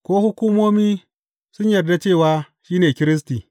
Ko hukumomi sun yarda cewa shi ne Kiristi?